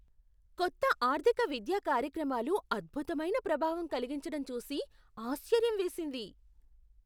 కొత్త ఆర్థిక విద్యా కార్యక్రమాలు అద్భుతమైన ప్రభావం కలిగించటం చూసి ఆశ్చర్యం వేసింది.